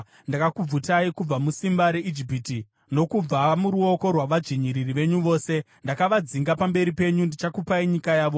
Ndakakubvutai kubva musimba reIjipiti, nokubva muruoko rwavadzvinyiriri venyu vose. Ndakavadzinga pamberi penyu ndikakupai nyika yavo.